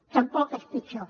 tampoc és pitjor